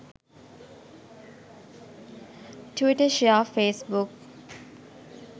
twitter share facebook